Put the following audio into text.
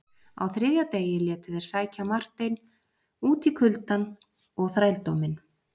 Á þriðja degi létu þeir sækja Marteinn út í kuldann og þrældóminn.